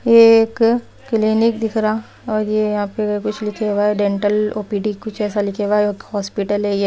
यह एक क्लीनिक दिख रहा और ये यहाँ पे कुछ लिखे हुआ है डेंटल ओ_ पी_ डी_ कुछ ऐसा लिखे हुआ है हॉस्पिटल है ये।